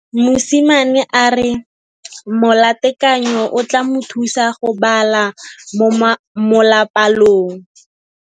Mosimane a re molatekanyô o tla mo thusa go bala mo molapalong.